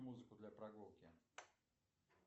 музыку для прогулки